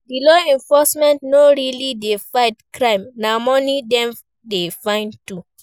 Di law enforcement no really de fight crime na money dem de find too